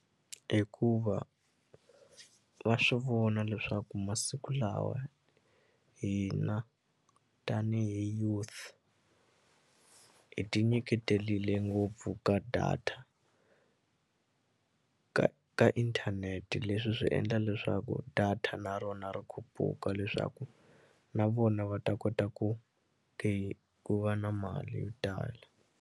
Hikuva va swi vona leswaku masiku lawa hina tanihi youth hi ti nyiketelile ngopfu ka data ka ka inthanete leswi swi endla leswaku data na rona ri khupuka leswaku na vona va ta kota ku ku va na mali yo tala.